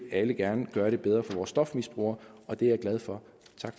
alle gerne gøre det bedre for vores stofmisbrugere og det er jeg glad for